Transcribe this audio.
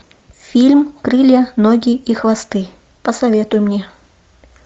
фильм крылья ноги и хвосты посоветуй мне